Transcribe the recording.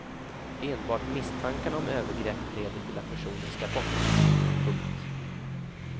Enbart misstankarna om övergrepp leder till att personen ska bort. punkt